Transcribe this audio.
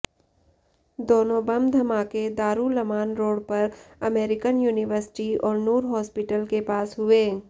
दोनों बम धमाके दारुलमान रोड पर अमेरिकन यूनिवर्सिटी और नूर हॉस्पिटल के पास हुए